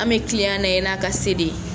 An bɛ tiliyan lajɛ n' a ka se de ye.